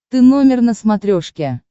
ты номер на смотрешке